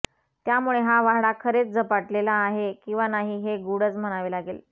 त्यामुळे हा वाडा खरेच झपाटलेला आहे किंवा नाही हे गूढच म्हणावे लागेल